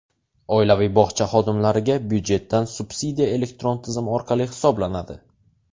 Oilaviy bog‘cha xodimlariga byudjetdan subsidiya elektron tizim orqali hisoblanadi.